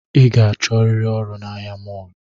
I ga-achọriri ọrụ na ahia mọlụ